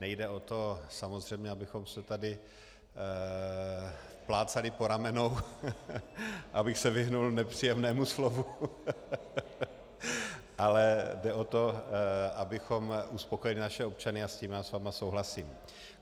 Nejde o to samozřejmě, abychom se tady plácali po ramenou, abych se vyhnul nepříjemnému slovu, ale jde o to, abychom uspokojili naše občany, a v tom já s vámi souhlasím.